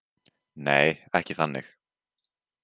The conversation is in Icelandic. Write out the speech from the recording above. Nei, ekki þannig.